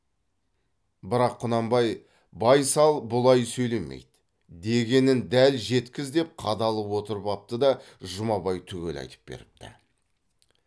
бірақ құнанбай байсал бұлай сөйлемейді дегенін дәл жеткіз деп қадалып отырып апты да жұмабай түгел айтып беріпті